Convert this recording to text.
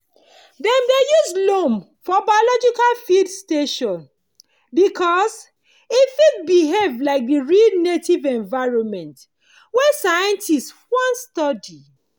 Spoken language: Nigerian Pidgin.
dem dey use loam for biological field station because e fit behave like the real native environment wey scientists wan study.